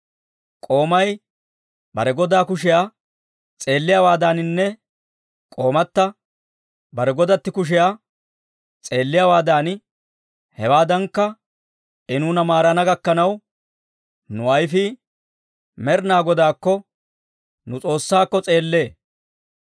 K'oomay bare godaa kushiyaa s'eelliyaawaadaaninne k'oomata bare godatti kushiyaa s'eelliyaawaadan, hewaadankka I nuuna maarana gakkanaw, nu ayifii Med'inaa Godaakko, nu S'oossaakko, s'eellee.